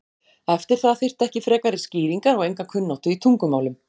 Eftir það þyrfti ekki frekari skýringar og enga kunnáttu í tungumálum.